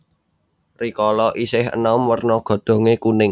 Rikala isih enom werna godhonge kuning